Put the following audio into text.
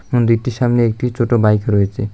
মন্দিরটির সামনে একটি ছোট বাইক রয়েচে।